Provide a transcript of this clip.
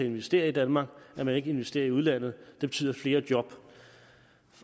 investere i danmark og at man ikke investerer i udlandet og det betyder flere job